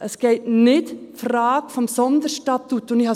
Es geht um die Frage des Sonderstatuts.